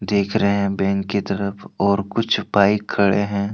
देख रहे हैं बैंक की तरफ और कुछ बाइक खड़े हैं।